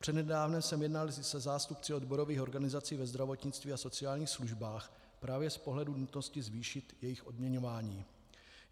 Přednedávnem jsem jednal se zástupci odborových organizací ve zdravotnictví a sociálních službách právě z pohledu nutnosti zvýšit jejich odměňování.